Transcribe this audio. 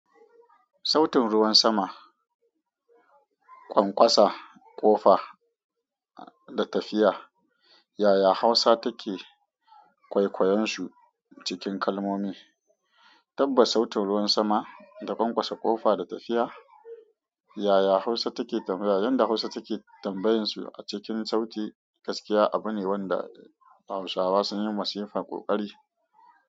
Sautin ruwan sama, ƙwanƙwasa ƙofa da tafiya, yaya Hausa take kwaikwayon su cikin kalmomi. Tabbas, sautin ruwan sama da ƙwanƙwasa ƙofa da tafiya, yaya Hausa take tambaya yadda Hausa take tambayoyin su a cikin sauti gaskiya abu ne wanda Hausawa sun yi masifar ƙoƙari.